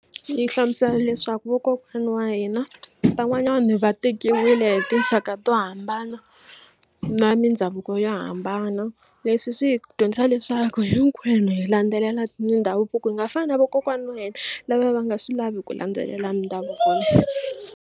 Yi hlamusela leswaku vakokwana wa hina van'wanyana va tekiwile hi tinxaka to hambana na mindhavuko yo hambana leswi swi hi dyondzisa leswaku hinkwenu hi landzelela mindhavuko hi nga fani na vakokwana wa hina lava va nga swi lavi ku landzelela mindhavuko.